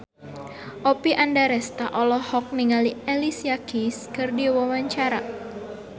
Oppie Andaresta olohok ningali Alicia Keys keur diwawancara